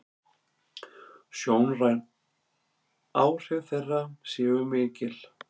Sjónræn áhrif þeirra séu mikil.